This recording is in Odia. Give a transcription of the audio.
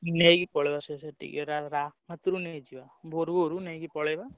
ନେଇକି ପଳେଇବା ସବୁ ସେଠିକି ରା ରା ହାତୁରୁ ନେଇ ଯିବା ଭୋରୁ ଭୋରୁ ନେଇକି ପଳେଇବା।